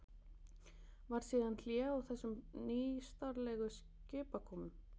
Varð síðan hlé á þessum nýstárlegu skipakomum.